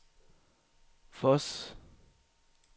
Voss